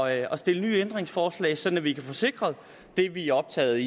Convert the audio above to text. at stille nye ændringsforslag sådan at vi kan få sikret det vi er optaget